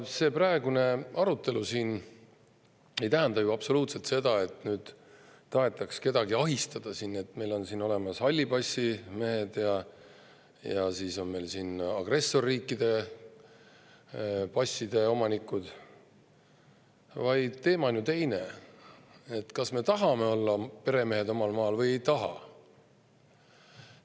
See praegune arutelu siin ei tähenda ju absoluutselt seda, nagu tahetaks kedagi ahistada, kui meil on siin olemas hallipassimehed ja siis on meil agressorriikide passide omanikud, vaid teema on ju teine: kas me tahame olla peremehed omal maal või ei taha.